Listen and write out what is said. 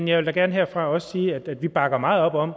jeg vil da gerne også sige herfra at vi bakker meget op om